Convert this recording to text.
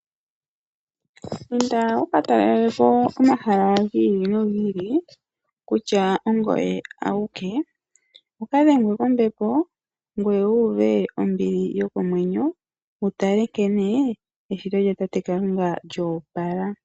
Inda wuka talelepo omahala gi ili nogi ili, kutya ongoye awike, wukadhengwe kombepo, ngweye wu uve ombili yokomwenyo, wutale nkene eshito lyatate Kalunga lyo opala.